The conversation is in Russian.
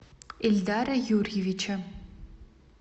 ильдара юрьевича